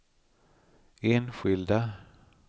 enskilda